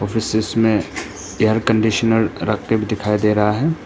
इस दृश्य में एयर कंडीशनर रख के भी दिखाई दे रहा है।